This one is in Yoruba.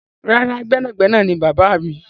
Rárá, gbẹ́nàgbẹnà ni bàbáà mi.